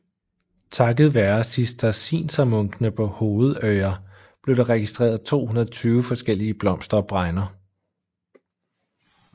Takket være cisterciensermunkene på Hovedøya blev der registreret 220 forskellige blomster og bregner